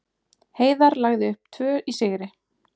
Heiðar lagði upp tvö í sigri